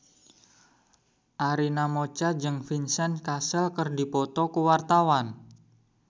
Arina Mocca jeung Vincent Cassel keur dipoto ku wartawan